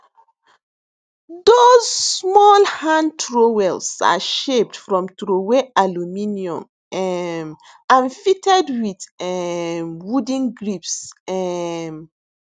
dos small hand trowels are shaped from troway aluminium um and fitted wit um wooden grips um